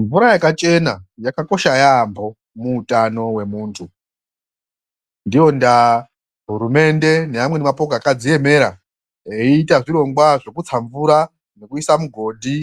Mvura yakachena yakakosha yaamho muutano wemuntu. Ndiyo ndaa hurumende neamweni mapoka akadziemera veiita zvirongwa zvekutsa mvura nekuisa mugodhi